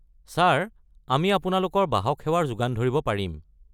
Sir আমি আপোনালোকৰ বাহক সেৱাৰ যোগান ধৰিব পাৰিম।